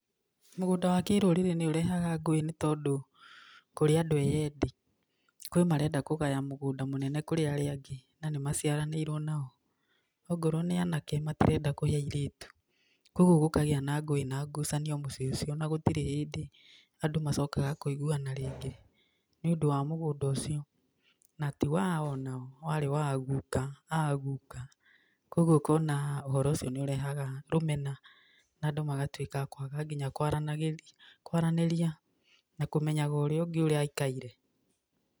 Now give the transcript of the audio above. Mũgũnda wa kĩrũrĩrĩ nĩũrehaga ngũĩ nĩ tondũ kũrĩ andũ e-endi. Kũrĩ marenda kũgaya mũgũnda mũnene kũrĩ arĩa angĩ, na nĩmaciranĩirwo nao, ongorwo nĩ anake, matirenda kũhe airĩtu. Koguo gũkagĩa na ngũĩ na ngucanio mũciĩ ũcio, na gũtirĩ hĩndĩ andũ macokaga kũiguana rĩngĩ, nĩũndũ wa mũgũnda ũcio. Na ti wao, na warĩ wa a-guka, aa guka. Koguo ũkona ũhoro ũcio nĩũrehaga rũmena na andũ magatuĩka a kwaga nginya kwaranagĩria, kwaranĩria, na kũmenyaga ũrĩa ũngĩ ũrĩa aikaire.